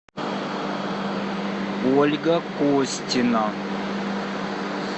ольга костина